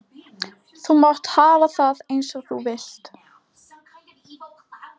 Þú mátt hafa það eins og þú vilt.